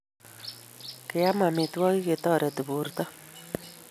Keam amitwogik che toreti porto